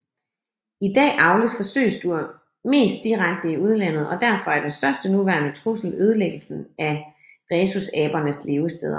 I dag avles forsøgsdyr mest direkte i udlandet og derfor er den største nuværende trussel ødelæggelsen af rhesusabernes levesteder